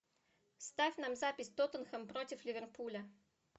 ставь нам запись тоттенхэм против ливерпуля